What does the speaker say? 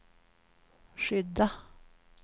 skydda